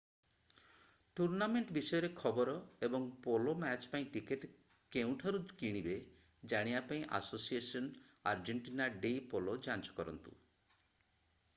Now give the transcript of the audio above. tournament ବିଷୟରେ ଖବର ଏବଂ ପୋଲୋ ମ୍ୟାଚ୍ ପାଇଁ ଟିକେଟ୍ କେଉଁଠାରୁ କିଣିବେ ଜାଣିବା ପାଇଁ ଆସୋସିଏସନ୍ ଆର୍ଜେଣ୍ଟିନା ଡେ ପୋଲୋ ଯାଞ୍ଚ କରନ୍ତୁ